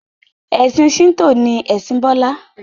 ẹsìn Shinto ni Ẹsìn Bola